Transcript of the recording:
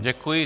Děkuji.